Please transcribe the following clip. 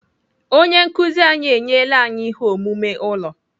Onye nkụzi anyị enyela anyị ihe omume ụlọ.